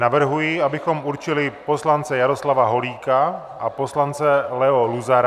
Navrhuji, abychom určili poslance Jaroslava Holíka a poslance Leo Luzara.